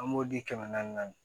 An b'o di kɛmɛ naani naani